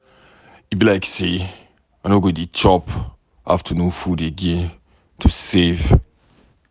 E be like say I no go dey chop afternoon food again to save.